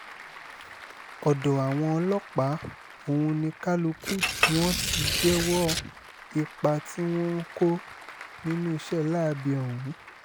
ọ̀dọ̀ àwọn ọlọ́pàá ọ̀hún ni kálukú wọn ti jẹ́wọ́ ipa tí wọ́n ń kó nínú iṣẹ́ láabi ọ̀hún